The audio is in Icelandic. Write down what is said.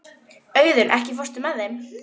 Auðunn, ekki fórstu með þeim?